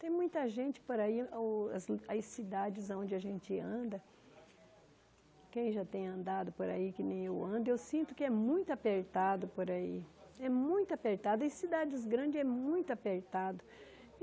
Tem muita gente por aí, o as as cidades onde a gente anda, quem já tem andado por aí que nem eu ando, eu sinto que é muito apertado por aí, é muito apertado, e cidades grandes é muito apertado.